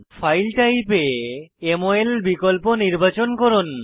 file type এ গিয়ে মল বিকল্প নির্বাচন করুন